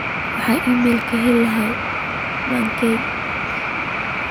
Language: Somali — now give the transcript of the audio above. waxaan iimayl ka heli lahaa mike